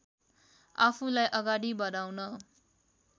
आफूलाई अगाडि बढाउन